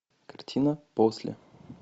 картина после